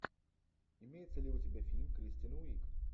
имеется ли у тебя фильм кристен уиг